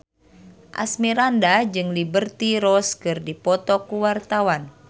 Asmirandah jeung Liberty Ross keur dipoto ku wartawan